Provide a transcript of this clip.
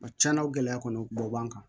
Tiɲɛna gɛlɛya kɔni b'o b'an kan